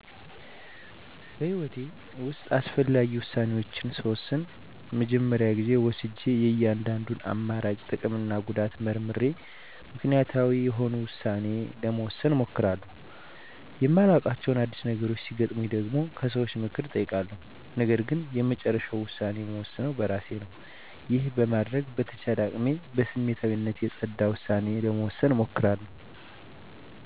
በህይወቴ ውስጥ አስፈላጊ ውሳኔዎችን ስወስን መጀመሪያ ጊዜ ወስጀ የእያንዳንዱን አማራጭ ጥቅምና ጉዳት መርምሬ ምክንያታዊ የሆነ ውሳኔ ለመወሰን እሞክራለሁ። የማላዉቃቸው አዲስ ነገሮች ሲገጥመኝ ደግሞ ከሰዎች ምክር እጠይቃለሁ ነገርግን የመጨረሻውን ውሳኔ እምወስነው በእራሴ ነው። ይህንን በማድረግ በተቻለኝ አቅም ከስሜታዊነት የፀዳ ዉሳኔ ለመወሰን እሞክራለሁ።